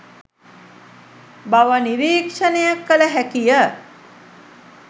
බව නිරීක්ෂණය කළ හැකිය.